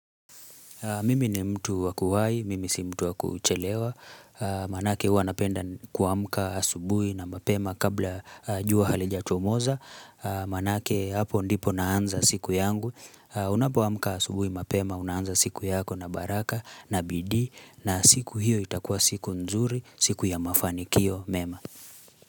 Mimi ni mtu wakuwahi, mimi si mtu wakuchelewa, maanake huwa napenda kuamka asubuhi na mapema kabla jua halijachomoza, maanake hapo ndipo naanza siku yangu, unapo amka asubuhi mapema, unaanza siku yako na baraka na bidi, na siku hiyo itakua siku nzuri, siku ya mafanikio mema.